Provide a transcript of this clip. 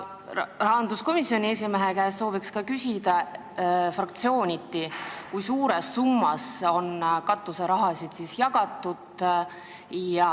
Soovin rahanduskomisjoni esimehe käest ka küsida, kui suures summas on fraktsiooniti katuseraha jagatud.